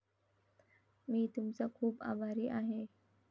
मी तुमचा खूप आभारी आहे